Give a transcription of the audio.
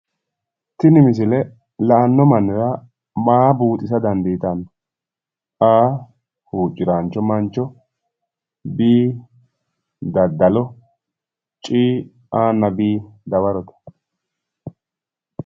Tini misile la'anno mannira maricho leellishanno? A.huucciraancho mancho B.daddalaancho C.A nna B dawarote